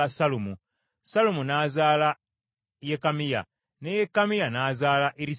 Sallumu n’azaala Yekamiya, ne Yekamiya n’azaala Erisaama.